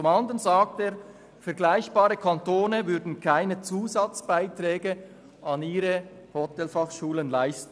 Demgegenüber sagt er, vergleichbare Kantone würden keine Zusatzbeiträge an ihre Hotelfachschulen leisten.